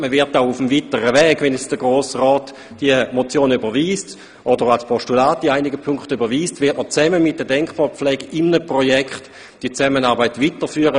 Und man wird diese Zusammenarbeit mit der Denkmalpflege auch auf dem weiteren Weg im Rahmen eines Projekts weiterführen, wenn der Grosse Rat den Vorstoss nun wie vorgeschlagen überweist.